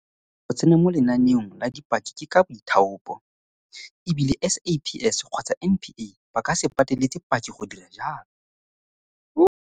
Go tsena mo lenaneong la dipaki ke ka boithaopo, e bile SAPS kgotsa NPA ba ka se pateletse paki go dira jalo.